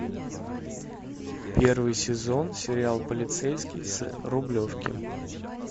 первый сезон сериал полицейский с рублевки